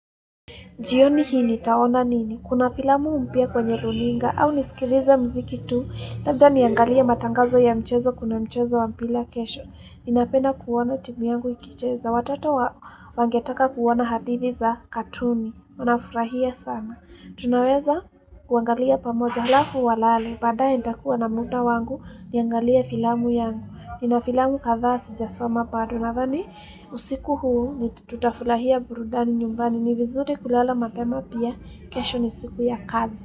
Jioni hii nitaona nini? Kuna filamu mpya kwenye runinga au nisikilize mziki tu. Labda niangalie matangazo ya mchezo kuna mchezo wa mpira kesho. Ninapenda kuona timu yangu ikicheza. Watoto wangetaka kuona hadithi za katuni. Wanafurahia sana tunaweza kuangalia pamoja alafu walale. Baadae nitakua na mudaa wangu niangalie filamu yangu. Nina filamu kadha sijasoma bado. Nadhani usiku huu ni tutafurahia burudani nyumbani ni vizuri kulala mapema pia kesho ni siku ya kazi.